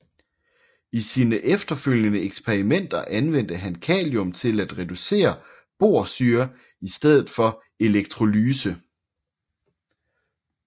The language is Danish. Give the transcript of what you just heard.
I sine efterfølgende eksperimenter anvendte han kalium til at reducere borsyre i stedet for electrolyse